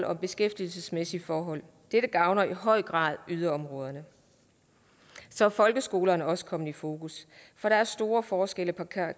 og beskæftigelsesmæssige forhold dette gavner i høj grad yderområderne så er folkeskolerne også kommet i fokus for der er store forskelle på